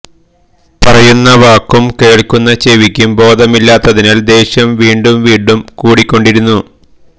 പറയുന്ന വാക്കും കേൾക്കുന്ന ചെവിക്കും ബോധമില്ലാത്തതിനാൽ ദേഷ്യം വീണ്ടും വീണ്ടും കൂടികൊണ്ടിരുന്നു